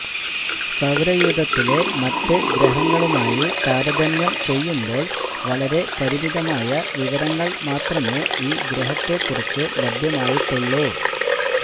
സൌരയൂഥത്തിലെ മറ്റ് ഗ്രഹങ്ങളുമായി താരതമ്യം ചെയ്യുമ്പോൾ വളരെ പരിമിതമായ വിവരങ്ങൾ മാത്രമേ ഈ ഗ്രഹത്തെക്കുറിച്ചു ലഭ്യമായിട്ടുള്ളൂ